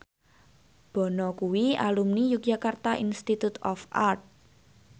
Bono kuwi alumni Yogyakarta Institute of Art